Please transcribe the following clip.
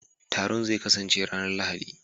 Taron zai kasance ranar Lahadi